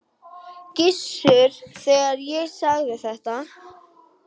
Gissur, þegar ég sagði þetta.